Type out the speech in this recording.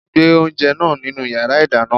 Gbe oúnjẹ náà nínu yàrá ìdáná!